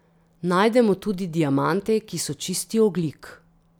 Najdemo tudi diamante, ki so čisti ogljik.